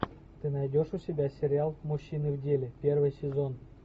ты найдешь у себя сериал мужчины в деле первый сезон